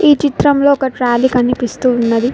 ఈ చిత్రంలో ఒక ట్రాలీ కనిపిస్తూ ఉన్నది.